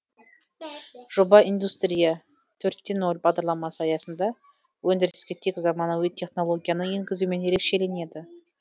жоба индустрия төрт те нөл бағдарламасы аясында өндіріске тек заманауи технологияны енгізумен ерекшеленеді